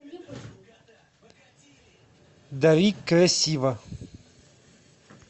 дари красиво